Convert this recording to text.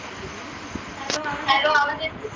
hello आवाज येत